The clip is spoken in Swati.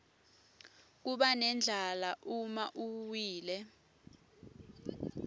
kubanendlala uma uwile